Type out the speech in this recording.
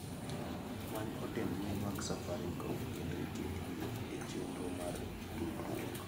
Many ote mbui mag safaricom kendo iket gi e chenro mar tudruok.